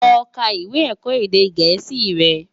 Lò ká iwé èkò édé gèési rè